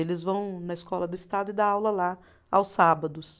Eles vão na escola do estado e dá aula lá aos sábados.